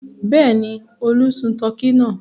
Bẹ́ẹ̀ ni, Olú sun tọkí náà.